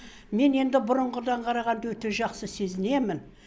мен енді бұрынғыдан қарағанда өте жақсы сезінемін